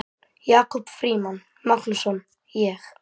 Jakob Frímann Magnússon: Ég?